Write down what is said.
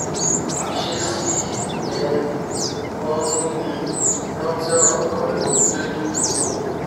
ìṣesí i um wọ́n múni rántí ọ̀rọ̀ kan nínú bíbélì tó